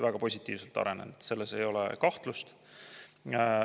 Väga positiivselt arenenud, selles ei ole kahtlust.